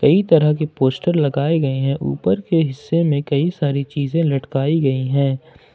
कई तरह के पोस्टर लगाए गए है ऊपर के हिस्से में कई सारी चीजें लटकाई गई है।